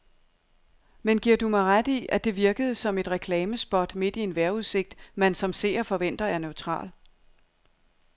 Men giver du mig ret i, at det virkede som et reklamespot midt i en vejrudsigt, man som seer forventer er neutral.